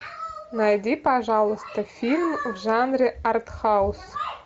найди пожалуйста фильм в жанре артхаус